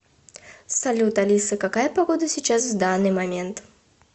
салют алиса какая погода сейчас в данный момент